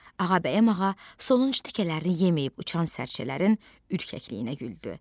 Ağabəyim ağa sonuncu tikələrini yeməyib uçan sərçələrin ürkəkliyinə güldü.